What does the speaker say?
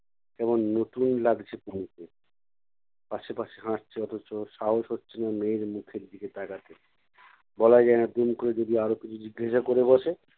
কেমন নতুন লাগছে তনুকে। পাশে পাশে হাঁটছে অথচ সাহস হচ্ছে না মেয়ের মুখের দিকে তাকাতে বলা যায় না দুম করে যদি আরও কিছু জিজ্ঞাসা করে বসে!